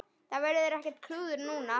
Það verður ekkert klúður núna.